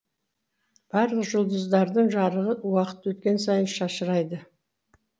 барлық жұлдыздардың жарығы уақыт өткен сайын шашырайды